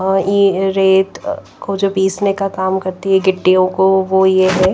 ये रेत को जो पीसने का काम करती है गिट्टियों को वो ये --